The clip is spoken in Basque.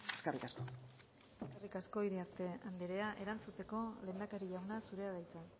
eskerrik asko eskerrik asko iriarte andrea erantzuteko lehendakari jauna zurea da hitza